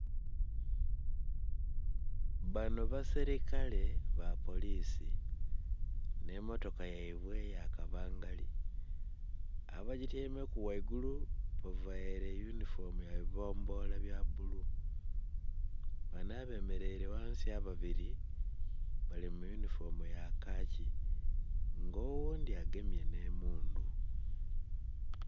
Banho basilikale ba polisi nhe motoka yaibwe eya kabangali, aba gityaimeku ghaigulu bavaire e eyunhifomu ya bibombola bya bulu. Banho abemereire ghansi ababiri bali mu eyunhifomu ya kaaki nga oghundhi agemye nhe mundhu.